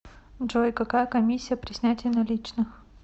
джой какая комиссия при снятии наличных